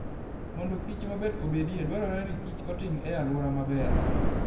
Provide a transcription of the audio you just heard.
Mondo kichmaber obedie, dwarore ni kichotim e alwora maber.